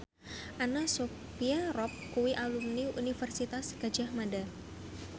Anna Sophia Robb kuwi alumni Universitas Gadjah Mada